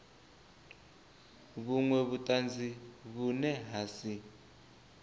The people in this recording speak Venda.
vhunwe vhutanzi vhune ha si